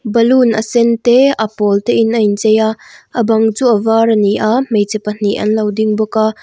balloon a sen te a pawl te in a in chei a a bang chu a var a ni a hmeichhe pahnih an lo ding bawk a.